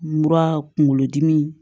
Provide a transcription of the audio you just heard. Mura kunkolo dimi